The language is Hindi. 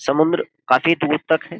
समुद्र काफी दूर तक है ।